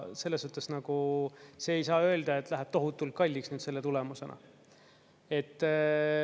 Selles suhtes nagu ei saa öelda, et see läheb tohutult kalliks selle tulemusena.